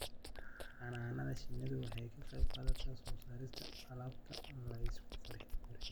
Xannaanada shinnidu waxay ka qayb qaadataa soo saarista alaabta la isku qurxiyo.